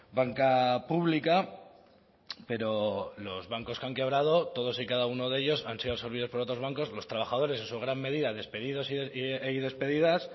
banca pública pero los bancos que han quebrado todos y cada uno de ellos han sido absorbidos por otros bancos los trabajadores en su gran medida despedidos y despedidas